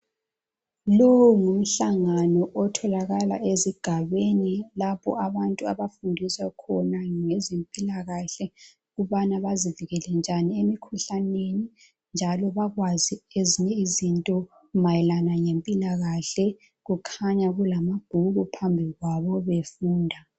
Lowu ngumhlangano otholakala ezigabeni lapho abantu abafundiswa khona ngezempilakahle ukubana bazivikele njani emikhuhlaneni. Njalo bakwazi ezinye izinto mayelana ngempilakahle. Kukhanya kulamabhuku phambi kwabo befunda.